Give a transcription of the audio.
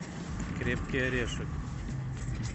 крепкий орешек